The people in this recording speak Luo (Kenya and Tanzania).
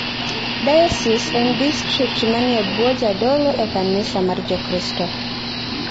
Diocese en distrikt manie bwo jadolo e kanisa mar Jokristo.